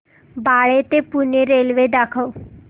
बाळे ते पुणे रेल्वे दाखव